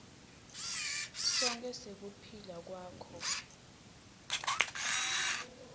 sonkhe sekuphila kwakho